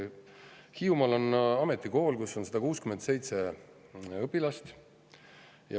Hiiumaal on ametikool, kus on 167 õpilast.